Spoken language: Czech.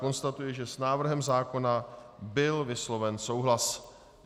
Konstatuji, že s návrhem zákona byl vysloven souhlas.